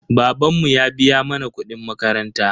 Babanmu ya biya mana kuɗin makaranta.